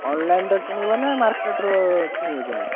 Online ରୁ କିଣିବ ନା market ରୁ କିଣିବ ଯାଇକି?